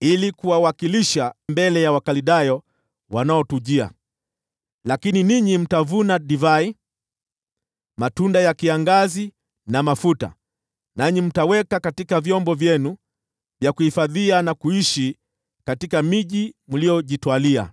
ili kuwawakilisha mbele ya Wakaldayo wanaotujia, lakini ninyi mtavuna divai, matunda ya kiangazi na mafuta, nanyi mtaweka katika vyombo vyenu vya kuhifadhia, na kuishi katika miji mliyojitwalia.”